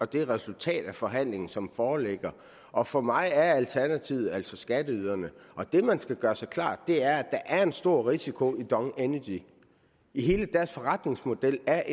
det resultat af forhandlingen som foreligger og for mig er alternativet altså skatteyderne og det man skal gøre sig klart er at der er en stor risiko i dong energy hele deres forretningsmodel er